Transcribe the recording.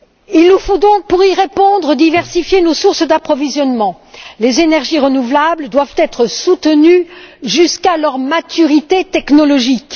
Il nous faut donc, pour y répondre, diversifier nos sources d'approvisionnement les énergies renouvelables doivent être soutenues jusqu'à leur maturité technologique.